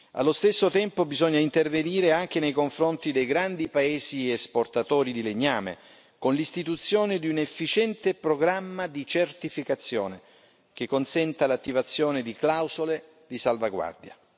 Allo stesso tempo bisogna intervenire anche nei confronti dei grandi paesi esportatori di legname con l'istituzione di un efficiente programma di certificazione che consenta l'attivazione di clausole di salvaguardia.